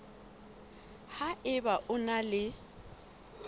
ha eba o na le